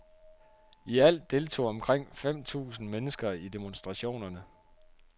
I alt deltog omkring fem tusind mennekser i demonstrationerne.